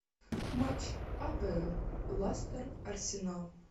матч апл лестер арсенал